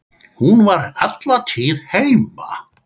Hún var alla tíð heima.